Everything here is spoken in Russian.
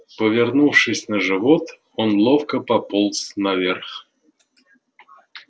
повернувшись на живот он ловко пополз наверх